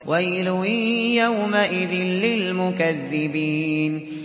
وَيْلٌ يَوْمَئِذٍ لِّلْمُكَذِّبِينَ